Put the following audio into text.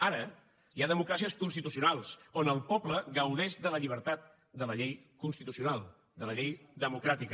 ara hi ha democràcies constitucionals on el poble gaudeix de la llibertat de la llei constitucional de la llei democràtica